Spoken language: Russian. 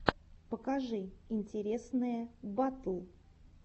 покажи интересные батл